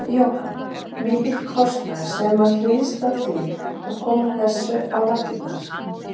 Jóhann: Mikill kostnaður sem að hlýst af því að koma þessu á laggirnar?